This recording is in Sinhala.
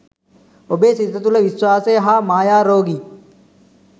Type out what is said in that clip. ඔබේ සිත තුළ විශ්වාසය හා මායා රෝගී